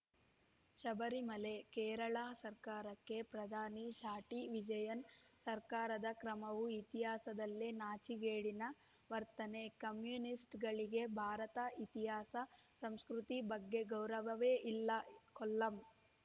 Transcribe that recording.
ಶಬರಿಮಲೆ ಕೇರಳ ಸರ್ಕಾರಕ್ಕೆ ಪ್ರಧಾನಿ ಚಾಟಿ ವಿಜಯನ್‌ ಸರ್ಕಾರದ ಕ್ರಮವು ಇತಿಹಾಸದಲ್ಲೇ ನಾಚಿಕೆಗೇಡಿನ ವರ್ತನೆ ಕಮ್ಯುನಿಸ್ಟ್‌ಗಳಿಗೆ ಭಾರತ ಇತಿಹಾಸ ಸಂಸ್ಕೃತಿ ಬಗ್ಗೆ ಗೌರವವೇ ಇಲ್ಲ ಕೊಲ್ಲಂ